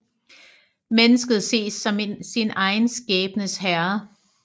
Mennesket ses som sin egen skæbnes herre